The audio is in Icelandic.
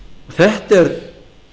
þetta er